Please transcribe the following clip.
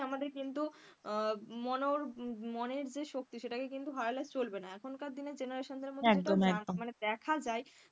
আর কখনেই আমাদের কিন্তু মন~ মনের যে শক্তি সেটা কে কিন্তু হারালে চলবে না এখনকার দিনে generation দের মধ্যে না মানে দেখা যায়,